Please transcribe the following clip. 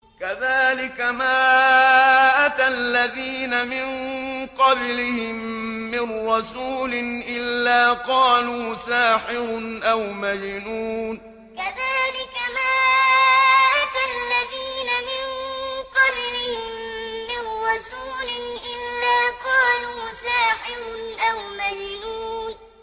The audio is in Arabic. كَذَٰلِكَ مَا أَتَى الَّذِينَ مِن قَبْلِهِم مِّن رَّسُولٍ إِلَّا قَالُوا سَاحِرٌ أَوْ مَجْنُونٌ كَذَٰلِكَ مَا أَتَى الَّذِينَ مِن قَبْلِهِم مِّن رَّسُولٍ إِلَّا قَالُوا سَاحِرٌ أَوْ مَجْنُونٌ